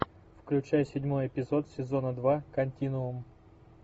включай седьмой эпизод сезона два континуум